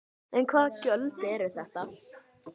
En hvaða gjöld eru þetta?